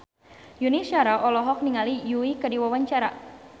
Yuni Shara olohok ningali Yui keur diwawancara